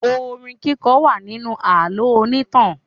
Orin kíkọ wà nínú àlọ́ onítàn.